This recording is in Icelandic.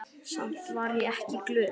Samt var ég ekki glöð.